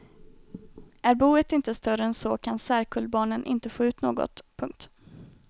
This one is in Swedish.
Är boet inte större än så kan särkullbarnen inte få ut något. punkt